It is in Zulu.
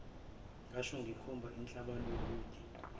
ngasho ngikhomba inhlabaluhide